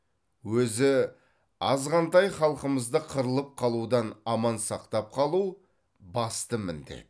өзі азғантай халқымызды қырылып қалудан аман сақтап қалу басты міндет